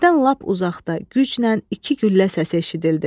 Birdən lap uzaqda güclə iki güllə səsi eşidildi.